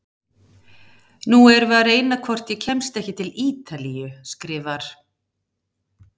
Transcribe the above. Nú erum við að reyna hvort ég kemst ekki til Ítalíu, skrifar